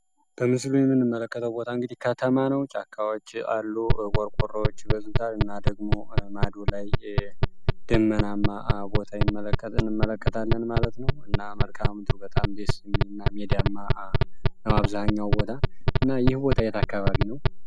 በምስሉ የምንመለከተው ቦታ እንግዲህ ከተማ ነው። ጫካዎች አሉ ቆርቆሮዎች ይበዙታል። እና ደግሞ ማዱ ላይ ደመናማ ቦታ እንመለከታለን ማለት ነው። እና መልካም ምድሩ በጣም ደስ የሚል ሜዲያማ ቦታ ነው በአብዛሃኛው እና ይህ ቦታ የት አካባቢ ነው?